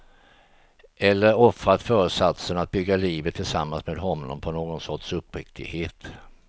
Eller offrat föresatsen att bygga livet tillsammans med honom på någon sorts uppriktighet.